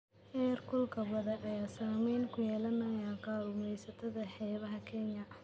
Heer kulka badda ayaa saameyn ku yeelanaya kalluumeysatada xeebaha Kenya.